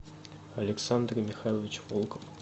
александр михайлович волков